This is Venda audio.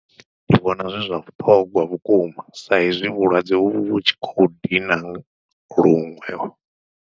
Ndi vhona zwi zwa vhuṱhongwa vhukuma sa izwi vhulwadze vhu vhu tshi khou dina luṅwe.